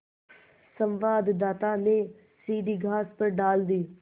संवाददाता ने सीढ़ी घास पर डाल दी